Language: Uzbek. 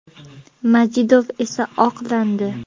Majidov esa oqlandi.